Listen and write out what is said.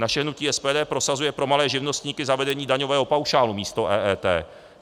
Naše hnutí SPD prosazuje pro malé živnostníky zavedení daňového paušálu místo EET.